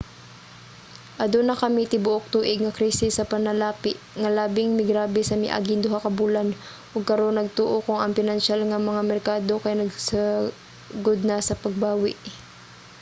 aduna kami tibuok-tuig nga krisis sa panalapi nga labing migrabe sa miaging duha ka bulan ug karon nagtuo kong ang pinansyal nga mga merkado kay nagsugod na sa pagbawi.